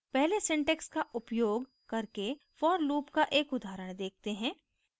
पहले syntax का उपयोग करके for loop का एक उदाहरण देखते हैं